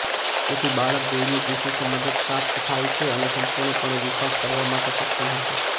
તેથી બાળક દૈનિક વિશિષ્ટ મદદ પ્રાપ્ત થાય છે અને સંપૂર્ણપણે વિકાસ કરવા માટે સક્ષમ હશે